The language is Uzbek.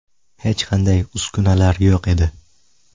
Hech qanday uskunalar yo‘q edi.